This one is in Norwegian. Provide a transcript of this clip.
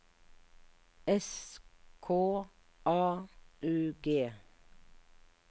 S K A U G